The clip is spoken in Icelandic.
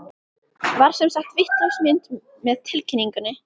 Var sem sagt vitlaus mynd með tilkynningunni?